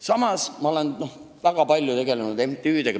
Samas olen ma väga palju tegelenud MTÜ-dega.